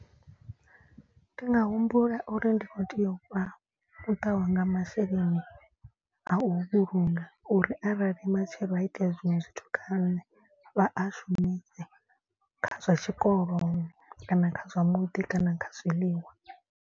Ndi nga humbula uri ndi khou tea u fha muṱa wa nga masheleni a u vhulunga. Uri arali matshelo ha itea zwiṅwe zwithu kha nṋe vha a shumise kha zwa tshikoloni kana kha zwa muḓi kana kha zwiḽiwa.